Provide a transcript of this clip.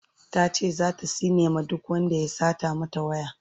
tace zata tsine ma duk Wanda ya Satan mata waya